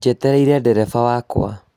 Njetereĩre dereba wakwa.